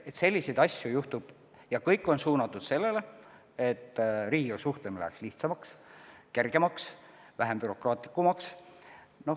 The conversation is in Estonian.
Selliseid asju juhtub ja kõik on suunatud sellele, et riigiga suhtlemine läheks lihtsamaks, kergemaks, vähem bürokraatlikuks.